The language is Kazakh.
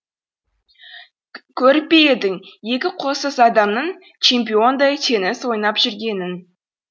көріп пе едің екі қолсыз адамның чемпиондай теннис ойнап жүргенін